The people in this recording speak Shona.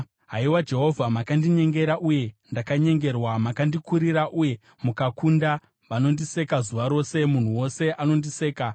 Haiwa Jehovha makandinyengera, uye ndakanyengerwa; makandikurira uye mukakunda, vanondiseka zuva rose; munhu wose anondiseka.